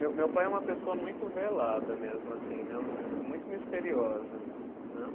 Meu meu pai é uma pessoa muito velada mesmo assim, né, muito misteriosa, né.